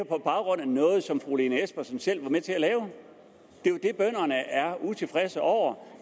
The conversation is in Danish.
på baggrund af noget som fru lene espersen selv var med til at lave det bønderne er utilfredse over